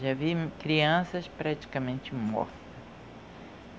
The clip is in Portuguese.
Já vi crianças praticamente morta.